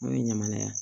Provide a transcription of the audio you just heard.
N'o ye ɲaman ye